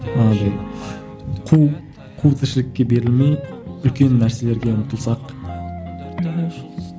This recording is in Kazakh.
қу қу тіршілікке берілмей үлкен нәрселерге ұмтылсақ мхм